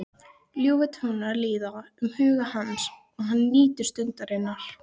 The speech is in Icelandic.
Ljúfir tónar líða um huga hans og hann nýtur stundarinnar.